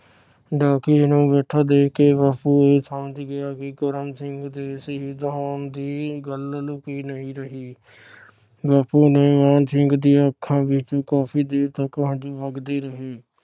ਡਾਕੀਏ ਨੂੰ ਬੈਠਾ ਦੇਖ ਕੇ ਬਾਪੂ ਇਹ ਸਮਾਜ ਗਿਆ ਕਿ ਕਰਮ ਸਿੰਘ ਦੇ ਸ਼ਹੀਦ ਹੋਣ ਦੀ ਗੱਲ ਲੁਕੀ ਨਹੀਂ ਰਹੀ । ਬਾਪੂ ਨੇ ਮਾਣ ਸਿੰਘ ਦੀਆ ਅੱਖਾਂ ਵਿਚ ਕਾਫੀ ਦੇਰ ਤਕ ਹੰਜੂ ਵਗਦੇ ਰਹੇ।